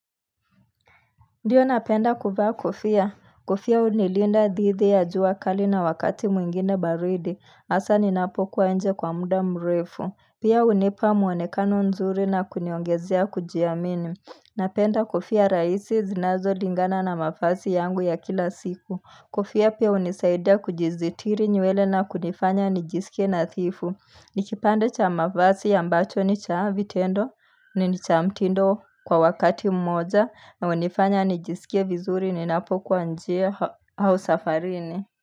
Ndiyo napenda kuvaa kofia. Kofia unilinda dhidi ya jua kali na wakati mwingine baridi. Asa ninapokuwa nje kwa muda mrefu. Pia unipa muonekano nzuri na kuniongezea kujiamini. Napenda kofia raisi zinazo lingana na mavazi yangu ya kila siku. Kofia pia unisaida kujizitiri nywele na kunifanya nijisikie nathifu. Nikipande cha mafasi ambacho ni cha vitendo ni ni cha mtindo kwa wakati mmoja na unifanya nijisikie vizuri ni napokuwa njia au safarini.